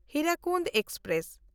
Hirakud express